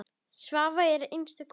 Svava var einstök kona.